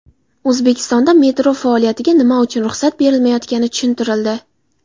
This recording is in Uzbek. O‘zbekistonda metro faoliyatiga nima uchun ruxsat berilmayotgani tushuntirildi.